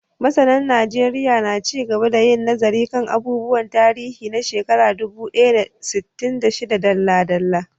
Masanan Najeriya na ci gaba da yin nazari kan abubuwan tarihi na shekarar dubu ɗaya da sittin da shida dalla-dalla.